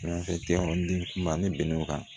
den kuma ni bɛnn'o kan